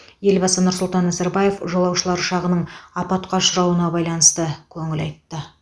елбасы нұрсұлтан назарбаев жолаушылар ұшағының апатқа ұшырауына байланысты көңіл айтты